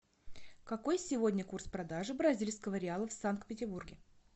какой сегодня курс продажи бразильского риала в санкт петербурге